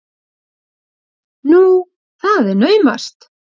Nú, það er naumast!